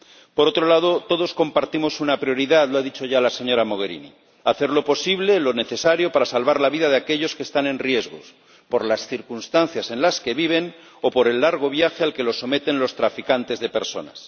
Por otro lado, todos compartimos una prioridad, lo ha dicho ya la señora Mogherini hacer lo posible, lo necesario, para salvar la vida de aquellos que están en riesgo, por las circunstancias en las que viven o por el largo viaje al que los someten los traficantes de personas.